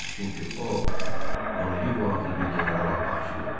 Çünki o, Monrivo adlı bir generala aşiq olmuşdu.